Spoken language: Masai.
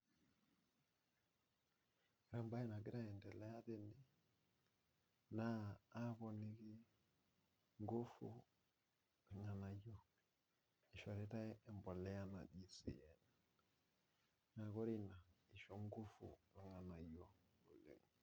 Ore embae nagira aendelea tene naa aponiki ngufu irganayio, eishoritae embolea naji sien, naa ore ina isho ngufiu irganayio.